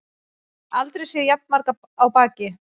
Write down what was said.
Aldrei séð jafn marga á baki